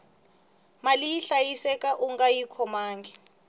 mali yi hlayiseka ungayi khomangi